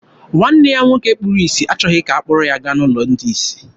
Nwanne ya nwoke kpuru isi achọghị ka ha kpọrọ ya gaa n'ụlọ ndị isi.